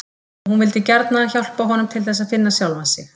Og hún vildi gjarna hjálpa honum til þess að finna sjálfan sig.